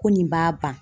Ko nin b'a ban